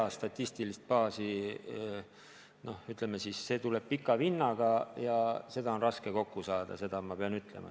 See statistiline baas, ütleme siis, tuleb pika vinnaga, seda ma pean ütlema.